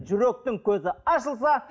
жүректің көзі ашылса